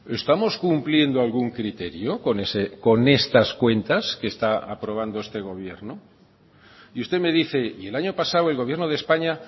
estamos cumpliendo algún criterio con estas cuentas que está aprobando este gobierno y usted me dice y el año pasado el gobierno de españa